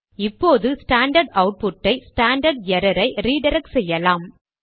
இப்போது ஸ்டாண்டர்ட் அவுட்புட்டை standard error ஐ ரிடிரக்ட் செய்யலாம்